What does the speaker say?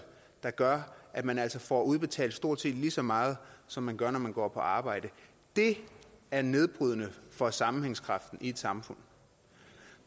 der gør at man altså får udbetalt stort set lige så meget som man gør når man går på arbejde det er nedbrydende for sammenhængskraften i et samfund